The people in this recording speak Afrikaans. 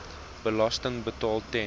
belasting betaal ten